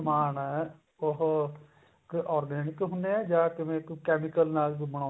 ਸਮਾਨ ਹੈ ਉਹ organic ਹੁੰਦੇ ਆ ਜਾਂ ਕਿਵੇਂ ਕੋਈ chemical ਨਾਲ